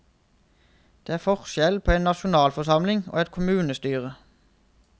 Det er forskjell på en nasjonalforsamling og et kommunestyre.